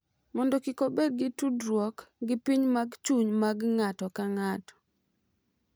Mondo kik obed gi tudruok gi piny mag chuny mag ng’ato ka ng’ato,